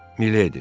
Mileydi.